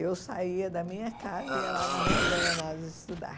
Eu saía da minha casa e ia lá na Rua Guaianazes estudar.